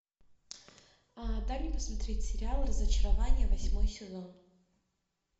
дай мне посмотреть сериал разочарование восьмой сезон